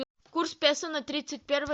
курс песо на тридцать первое